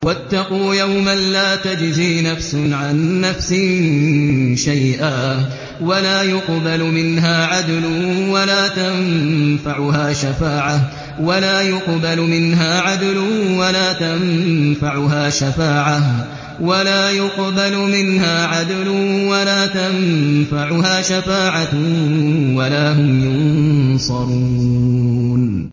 وَاتَّقُوا يَوْمًا لَّا تَجْزِي نَفْسٌ عَن نَّفْسٍ شَيْئًا وَلَا يُقْبَلُ مِنْهَا عَدْلٌ وَلَا تَنفَعُهَا شَفَاعَةٌ وَلَا هُمْ يُنصَرُونَ